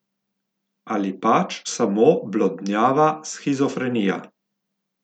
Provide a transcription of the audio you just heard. Ali pač samo blodnjava shizofrenija.